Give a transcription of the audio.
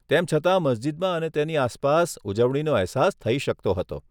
તેમ છતાં મસ્જિદમાં અને તેની આસપાસ ઉજવણીનો અહેસાસ થઈ શકતો હતો.